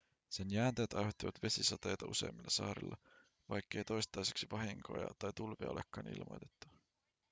sen jäänteet aiheuttivat vesisateita useimmilla saarilla vaikkei toistaiseksi vahinkoja tai tulvia olekaan ilmoitettu